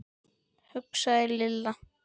hugsaði Lilla.